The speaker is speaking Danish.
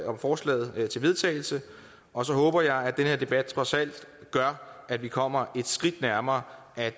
om forslaget til vedtagelse og så håber jeg at den her debat trods alt gør at vi kommer et skridt nærmere at